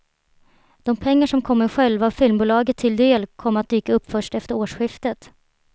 De pengar som kommer själva filmbolaget till del kommer att dyka upp först efter årsskiftet.